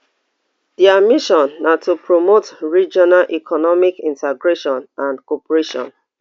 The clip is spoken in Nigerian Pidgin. dia mission na to promote regional economic integration and cooperation